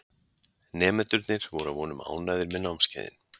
Nemendurnir voru að vonum ánægðir með námskeiðin.